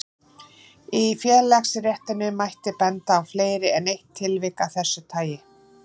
Í félagaréttinum mætti benda á fleiri en eitt tilvik af þessu tagi.